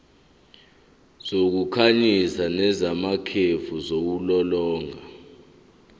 zokukhanyisa nezamakhefu ziwulolonga